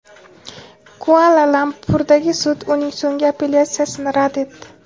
Kuala-Lumpurdagi sud uning so‘nggi apellyatsiyasini rad etdi.